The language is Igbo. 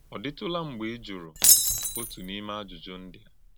Ọ̀ dị̀tụ̀lá mgbè í jùrù òtù n’ímé àjùjù ndí a?